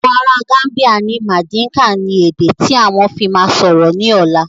Àwọn ará Gambia ni madinka ni èdè tí àwọn fi máa sọ̀rọ̀ ni ọ̀la